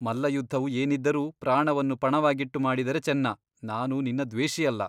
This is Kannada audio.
ಮಲ್ಲಯುದ್ಧವು ಏನಿದ್ದರೂ ಪ್ರಾಣವನ್ನು ಪಣವಾಗಿಟ್ಟು ಮಾಡಿದರೆ ಚೆನ್ನ ನಾನು ನಿನ್ನ ದ್ವೇಷಿಯಲ್ಲ.